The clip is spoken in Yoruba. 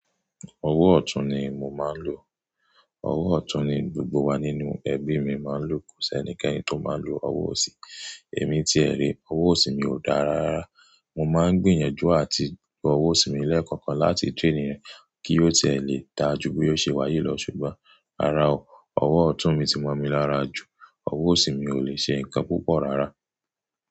Ọwọ́ ọ̀tún ni mo máa ń lò. Ọwọ́ ọ̀tún ni gbogbo wa nínú ẹbí mi máa ń lò. Kò sí ẹnikẹ́ni tó máa ń lo ọwọ́ òsì. Èmi tí ẹ rí, ọwọ́ òsì mi ò dáa rárá. Mo máa ń gbìyànjú àti gba ọwọ́ òsì mi lẹ́ẹ̀kọ̀kan láti traini re kí ó ti e lè dáa ju bí ó ṣe wáyi lọ, ṣùgbọ́n, rará o, ọwọ́ ọ̀tún mi ti mọ́ mi lára jù. Ọwọ́ òsì mi ò lè ṣe nǹkan púpọ̀ rárá.